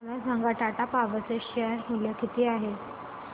मला सांगा टाटा पॉवर चे शेअर मूल्य किती आहे